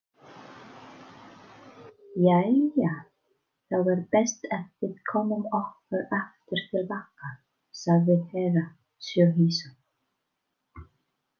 Jæja þá er best að við komum okkur aftur til baka, sagði Herra Tsohizo.